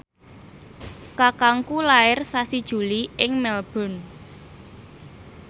kakangku lair sasi Juli ing Melbourne